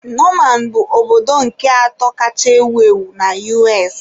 Norman bụ obodo nke atọ kacha ewu ewu na U.S